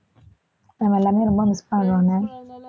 நாம எல்லாமே ரொம்ப miss பண்ணுவாங்க